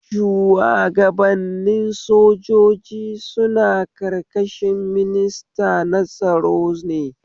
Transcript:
Shuwagabannin sojoji suna ƙarƙashin minista na tsaro ne